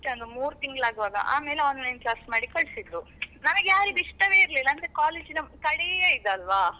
ಅಷ್ಟೇ ಒಂದು ಮೂರ್ ತಿಂಗಳು ಆಗುವಾಗ ಆಮೇಲ್ Online class ಮಾಡಿ ಕಳ್ಸಿದ್ರು. ನಮಗ್ಯಾರಿಗೂ ಇಷ್ಟವೇ ಇರಲ್ಲಿಲ್ಲ ಅಂದ್ರೆ college ನ ಕಡೆಯ ಇದ್ ಅಲ್ವ.